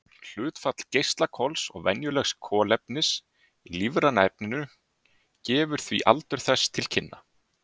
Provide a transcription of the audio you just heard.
Hlutfall geislakols og venjulegs kolefnis í lífræna efninu gefur því aldur þess til kynna.